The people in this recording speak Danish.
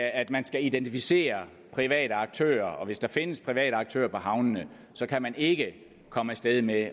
at man skal identificere private aktører og hvis der findes private aktører på havnene kan man ikke komme af sted med